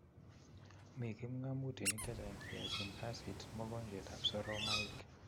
Mii kipgamutik chechang che yachin kasit mogonjweet ab soromaik